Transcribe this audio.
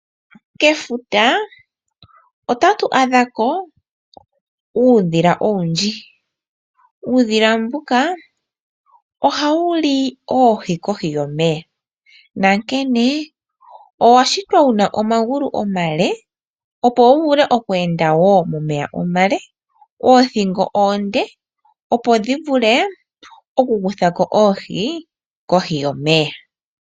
Kefuta otatu adha ko uudhila owundji, uudhila mbuka oha wuli oohi kohi yomeya. Nankene owa shitwa wuna omagulu omale, opo wu vule oku enda woo momeya omale, oothingo oonde opo dhi vule oku kutha ko ohi kohi yomeya.